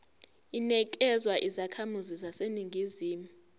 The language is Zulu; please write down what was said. inikezwa izakhamizi zaseningizimu